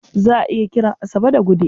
Za a iya kiran Asabe da Gude.